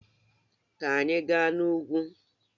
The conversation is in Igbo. Ka anyị gaa n'ugwu!